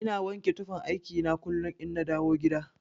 Ina wanke tufan aiki na kullun inna dawo gida.